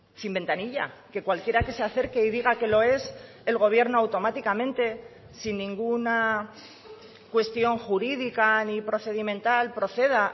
sin ventanilla que cualquiera que se acerque y diga que lo es el gobierno automáticamente sin ninguna cuestión jurídica ni procedimental proceda